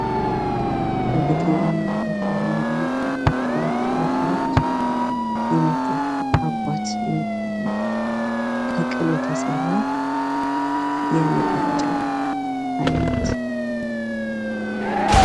በገጠር አማ ቦታ ከብት ባላቸው ቦታዎች የሚጠጣ አጓት የሚባል መጠጥ፤ ከቅል የተሰራ የመጠጫ ዓይነት።